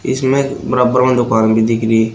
इसमें बराबर में दुकान भी दिख रही--